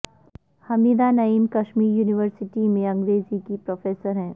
حمیدہ Naeem Kashmir university میں انگریزی کی پروفیسر ہیں